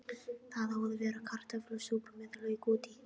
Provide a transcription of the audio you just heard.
Það á að vera kartöflusúpa með lauk út í.